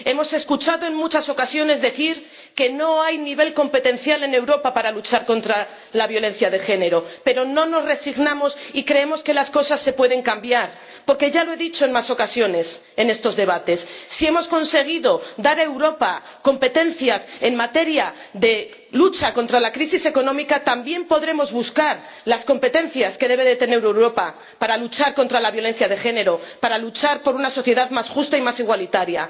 Hemos escuchado en muchas ocasiones decir que no hay nivel competencial en Europa para luchar contra la violencia de género, pero no nos resignamos y creemos que las cosas se pueden cambiar, porque ―ya lo he dicho en más ocasiones en estos debates― si hemos conseguido dar a Europa competencias en materia de lucha contra la crisis económica, también podremos buscar las competencias que debe tener Europa para luchar contra la violencia de género, para luchar por una sociedad más justa y más igualitaria.